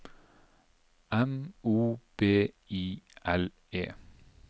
M O B I L E